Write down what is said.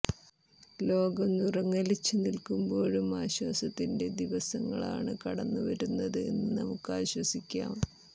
ലോകം വിറങ്ങലിച്ച് നില്ക്കുമ്പോഴും ആശ്വാസത്തിന്റെ ദിവസങ്ങളാണ് കടന്ന് വരുന്നത് എന്ന് നമുക്കാശ്വസിക്കാം